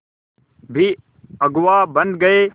भी अगुवा बन गए